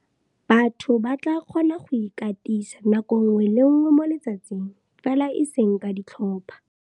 Batho ba tla kgona go ikatisa nako nngwe le nngwe mo letsatsing, fela eseng ka ditlhopha.